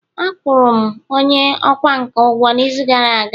Akwụ rụ'm onye ọkwá nkà ugwo n’izu gara aga